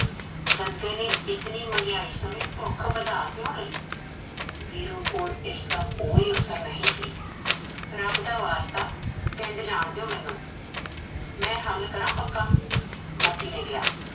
ਬੰਦੇ ਨੇ ਇਤਨੀ ਮਹਗੀਆਈ ਸਮੇ ਭੁਖ ਵਧਾ ਕਿਉ ਲਈ ਵੀਰੂ ਕੋਲ ਓਸਦਾ ਕੋਈ ਓਤਰ ਨਹੀ ਸੀ ਰਬ ਦਾ ਪਿੰਡ ਜਾਨ ਦਿਏਓ ਮੇਨੂ ਮੈ ਹੱਲ ਕਰਾ ਪੱਕਾ ਮਤੀ ਨੇ ਕਿਹਾ